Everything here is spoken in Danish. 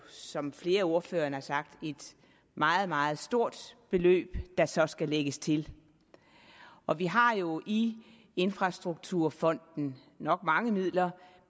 som flere af ordførerne har sagt et meget meget stort beløb der så skal lægges til og vi har jo i infrastrukturfonden nok mange midler